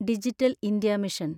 digital India mission